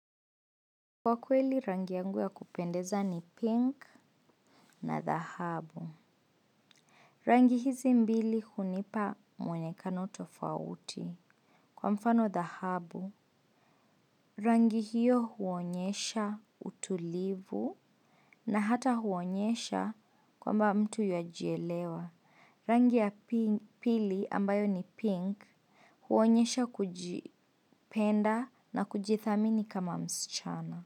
Kwa kweli rangi yangu ya kupendeza ni pink na dhahabu. Rangi hizi mbili hunipa mwonekano tofauti. Kwa mfano dhahabu, rangi hiyo huonyesha utulivu na hata huonyesha kwamba mtu yuajielewa. Rangi ya pili ambayo ni pink huonyesha kujipenda na kujithamini kama msichana.